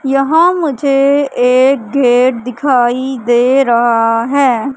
यहां मुझे एक गेट दिखाई दे रहा हैं।